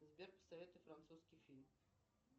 сбер посоветуй французский фильм